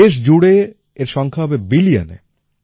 দেশ জুড়ে এর সংখ্যা হবে বিলিয়নে